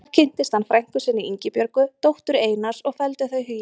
Þar kynntist hann frænku sinni, Ingibjörgu, dóttur Einars og felldu þau hugi saman.